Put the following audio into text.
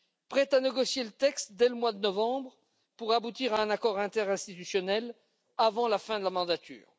prêt à négocier le texte dès le mois de novembre pour aboutir à un accord interinstitutionnel avant la fin de la mandature.